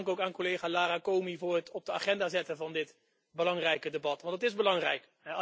Dank ook aan collega Lara Comi voor het op de agenda zetten van dit belangrijke debat, want het is belangrijk.